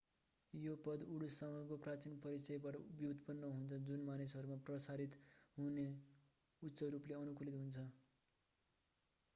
यो पद उडुससँगको प्राचीन परिचयबाट व्युत्पन्न हुन्छ जुन मानिसहरूमा पराश्रित हुन उच्च रूपले अनुकूलित हुन्छन्